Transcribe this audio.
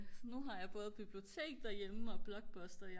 nu har jeg både bibliotek derhjemme og blockbuster